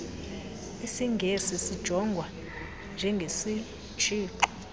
isingesi sijongwa njengesitshixo